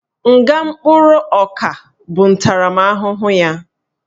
Nga mkpụrụ ọka bụ ntaramahụhụ ya